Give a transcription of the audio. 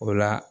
O la